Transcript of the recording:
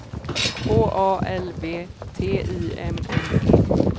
H A L V T I M M E